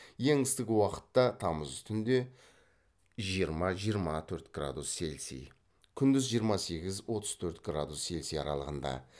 ең ыстық уақытта тамыз түнде жиырма жиырма төрт градус цельсий күндіз жиырма сегіз отыз төрт градус цельсий аралығында